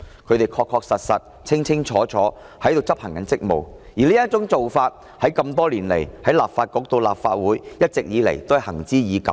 他們確確實實、清清楚楚地在執行職務，而多年來從立法局到立法會，這種做法一直都是行之已久的。